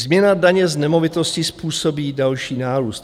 Změna daně z nemovitostí způsobí další nárůst.